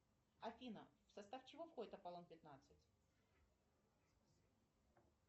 афина в состав чего входит аполлон пятнадцать